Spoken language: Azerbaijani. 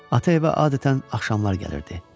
Ata evə adətən axşamlar gəlirdi.